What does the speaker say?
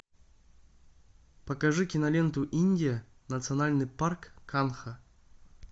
покажи киноленту индия национальный парк канха